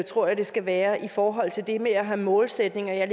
tror jeg det skal være i forhold til det med at have målsætninger jeg